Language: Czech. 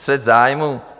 Střet zájmů?